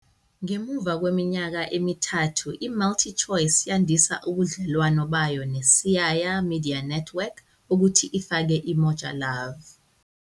Ngemuva kweminyaka emithathu, iMultiChoice yandisa ubudlelwano bayo neSiyaya Media Network ukuthi ifake iMoja Love.